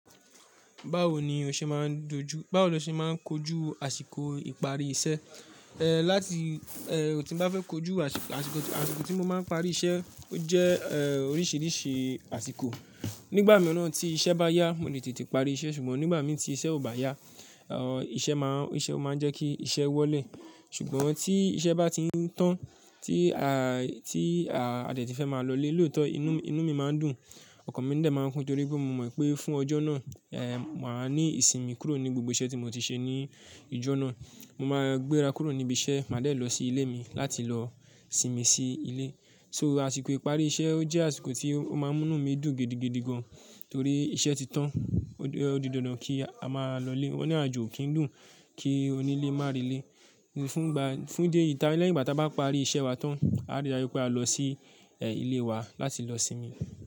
Báwo ni o ṣe máa dojú, báwo ni o ṣe máa kojú àsìkò ìparí iṣẹ́? Ehn, láti eh, tín bá fẹ́ kojú àsìkò, àsìkò tí mo máa ń parí iṣẹ́, ó jẹ́ eh, oríṣìíríṣìí àsìkò. Nígbà mìíràn tí iṣẹ́ bá yá, mo lè tètè parí iṣẹ́, ṣùgbọ́n nígbà mí tí iṣẹ́ ò bá yá, eh iṣẹ́ máa, iṣẹ́ ó máa ń jẹ́ kí iṣẹ́ wọlé. Ṣùgbọ́n tí iṣẹ́ bá ti ń tán, tí a, tí a detí fẹ́ máa lọ lé lóòótọ́, inú, inú mi máa ń dùn, ọkàn mi dè máa ń kún torí pé mo mọ̀ pé fún ọjọ́ náà, eh, màá ní ìsinmi kúrò ní gbogbo iṣẹ́ tí mo ti ṣe ní ijó náà. Mo máa gbéra kúrò níbi iṣẹ́, màá dẹ̀ lọ sí ilé mi láti lọ sinmi sí ilé. So àsìkò ìparí iṣẹ́ ó jẹ́ àsìkò tí ó máa ń mú inú mi dùn gidigidi gan torí iṣẹ́ ti tán. Ó di, ó di dandan kí a máa lọ lé. Ó ní àjò kì í dùn, kí onílé má rẹ ilé. Ní fún gba, fún ìdí èyí ta lẹ́yìn ìgbà tí a bá parí iṣẹ́ wa tán, a rí dájú pé a lọ sí eh, ilé wa láti lọ sinmi.